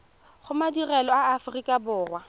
go madirelo a aforika borwa